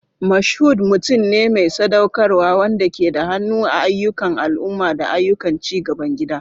Mashood mutum ne mai sadaukarwa wanda ke da hannu a ayyukan al'umma da ayyukan ci gaban gida.